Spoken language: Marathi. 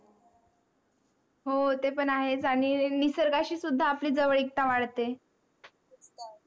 हो ते पण आहेच, आणि निसर्गाशी सुद्धा आपली जवळ एकता वाढते.